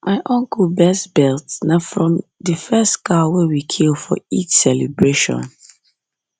my uncle best belt na from the first cow wey we kill for eid celebration